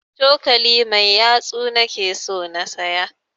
Cokali mai yatsu na ke so na siya